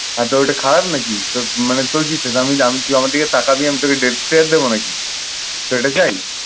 হ্যাঁ তো ওইটা খারাপ নাকি? তোর মানে তোর কি ইচ্ছে? আমি আমি তুই আমার দিকে তাকাবি আমি তোকে দেবো নাকি?